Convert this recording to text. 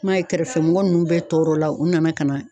I ma ye kɛrɛfɛ mɔgɔ nunnu bɛ tɔɔrɔ la, u nana ka na